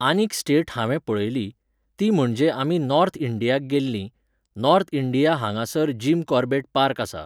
आनीक स्टेट हांवें पळयली, ती म्हणजे आमी नॉर्थ इंडियाक गेल्लीं, नॉर्थ इंडिया हांगासर जीम कॉर्बेट पार्क आसा.